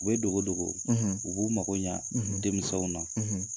U bɛ dogo dogo u b'u mago ɲa denmisɛnw na